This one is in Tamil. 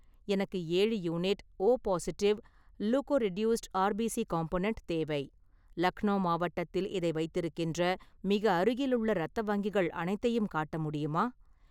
எனக்கு ஏழு unit O positive leukoreduced RBC component தேவை, லக்னோ மாவட்டத்தில் இதை வைத்திருக்கின்ற மிக அருகிலுள்ள இரத்த வங்கிகள் அனைத்தையும் காட்ட முடியுமா?